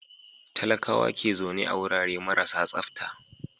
Talakawa ke zaune a wurare marasa tsafta.